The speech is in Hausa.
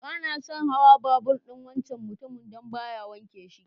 Bana son hawan babur'n wancan mutumin dan baya wanke shi.